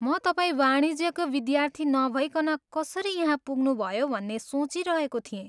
म तपाईँ वाणिज्यको विद्यार्थी नभइकन कसरी यहाँ पुग्नुभयो भन्ने सोचिरहेको थिएँ।